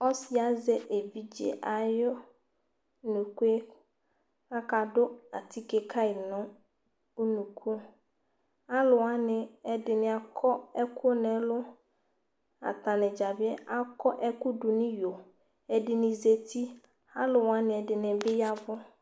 Ɔsɩ azɛ evidze ayʋ unuku yɛ kʋ akadʋ atike ka yɩ nʋ unuku Alʋ wanɩ ɛdɩnɩ akɔ ɛkʋ dʋ nʋ ɛlʋ Atanɩ dza bɩ akɔ ɛkʋ dʋ nʋ iyo Ɛdɩnɩ zati Alʋ wanɩ, ɛdɩnɩ bɩ ya ɛvʋ